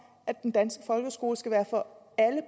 at den danske folkeskole skal være for alle